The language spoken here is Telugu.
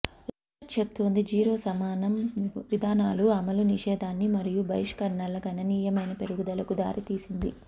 రీసెర్చ్ చూపుతుంది జీరో సహనం విధానాలు అమలు నిషేధాన్ని మరియు బహిష్కరణల గణనీయమైన పెరుగుదలకు దారితీసింది